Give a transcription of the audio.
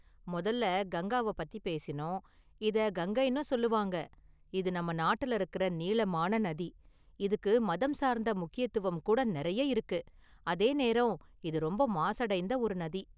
மொதல்ல​ கங்காவ பத்தி பேசினோம், இத கங்கைன்னும் சொல்வாங்க​, இது நம்ம​ நாட்டுல இருக்குற நீளமான​ நதி, இதுக்கு மதம் சார்ந்த முக்கியத்துவம் கூடநெறைய இருக்கு, அதேநேரம் இது ரொம்ப​ மாசடைந்த ஒரு நதி.